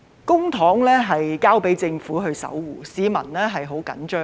公帑交給政府守護，市民十分着緊。